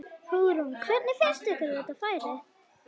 Hugrún: Hvernig finnst þér færið?